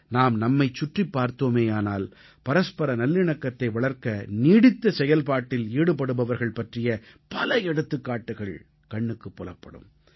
நாம் நம்மைச் சுற்றிப் பார்த்தோமேயானால் பரஸ்பர நல்லிணக்கத்தை வளர்க்க நீடித்த செயல்பாட்டில் ஈடுபடுபவர்கள் பற்றிய பல எடுத்துக்காட்டுக்கள் கண்ணுக்குப் புலப்படும்